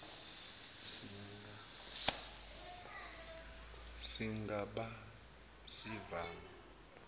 siga ba sivame